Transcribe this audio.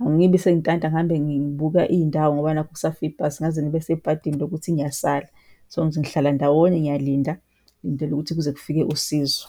Angibi sengintanta ngihamba ngibuka iy'ndawo ngoba nakhu kusafe ibhasi, ngingaze ngibe sebhadini lokuthi ngiyasala, so ngihlala ndawonye ngiyaliinda, ngilindele ukuthi kuze kufike usizo.